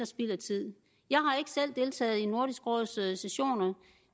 spild af tid jeg har ikke selv deltaget i nordisk råds sessioner